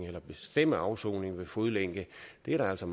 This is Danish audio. eller bestemme afsoning med fodlænke det er altså